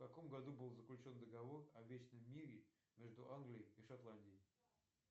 в каком году был заключен договор о вечном мире между англией и шотландией